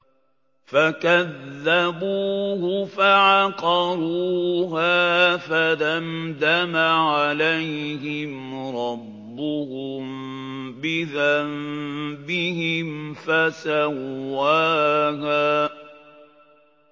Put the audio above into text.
فَكَذَّبُوهُ فَعَقَرُوهَا فَدَمْدَمَ عَلَيْهِمْ رَبُّهُم بِذَنبِهِمْ فَسَوَّاهَا